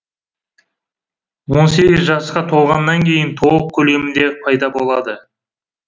он сегіз жасқа толғаннан кейін толық көлемінде пайда болады